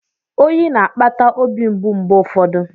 Oyi na-akpata obi mgbu mgbe ụfọdụ.